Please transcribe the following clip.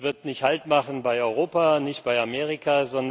Das wird nicht Halt machen bei Europa, auch nicht bei Amerika.